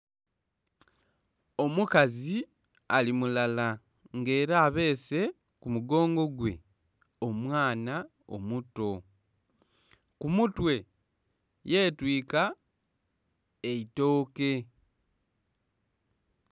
Omukazi ali mulala nga era abeese ku mugongo gwe omwaana omuto ku mutwe, yetwika eitooke.